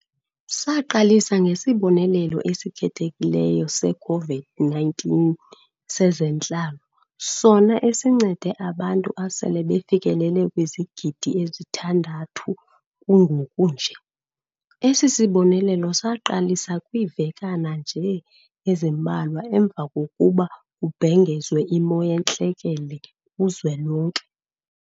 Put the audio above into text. Saqalisa ngeSibonelelo esiKhethekileyo se-COVID-19 sezeNtlalo, sona esincede abantu asele befikelele kwizigidi ezithandathu kungokunje. Esi sibonelelo saqalisa kwiivekana nje ezimbalwa emva kokuba kubhengezwe iMo yeNtlekele kuZwelonke.